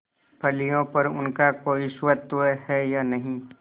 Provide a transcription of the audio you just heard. फलियों पर उनका कोई स्वत्व है या नहीं